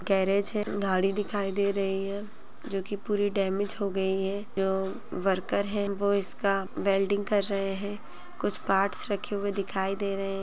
Garage है गाड़ी दिखाई दे रही है जो की पूरी डैमेज हो गई है एवं वर्कर है जो इसका वेल्डिंग कर रहे है कुछ पार्ट्स रखे हुए दिखाई दे रहे है।